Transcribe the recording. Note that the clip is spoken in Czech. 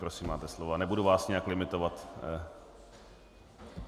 Prosím, máte slovo a nebudu vás nijak limitovat.